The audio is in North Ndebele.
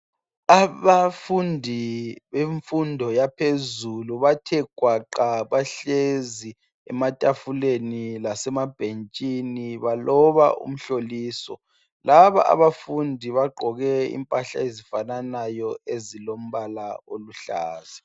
Abafundi bemfondo yaphezulu bathe gwaqa bahlezi ematafuleni lasemabhentshini baloba umhloliso laba abafundi bagqoke impahla ezifananayo ezilombala oluhlaza.